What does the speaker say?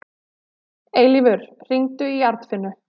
Eilífur, hringdu í Arnfinnu.